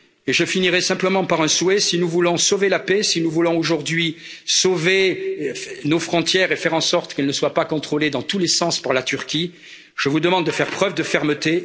Je finirai simplement par un souhait si nous voulons sauver la paix, si nous voulons aujourd'hui sauver nos frontières et faire en sorte qu'elles ne soient pas contrôlées, dans tous les sens, par la Turquie, je vous demande de faire preuve de fermeté.